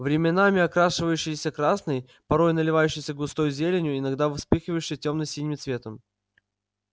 временами окрашивающееся красным порой наливающееся густой зеленью иногда вспыхивающее тёмно-синим цветом